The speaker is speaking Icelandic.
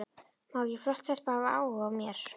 Má ekki flott stelpa hafa áhuga á mér?